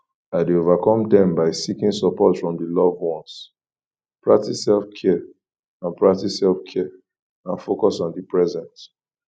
i dey overcome dem by seeking support from di loved ones practice selfcare and practice selfcare and focus on di present